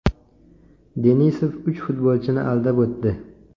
Denisov uch futbolchini aldab o‘tdi.